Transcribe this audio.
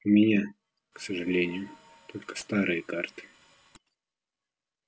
у меня к сожалению только старые карты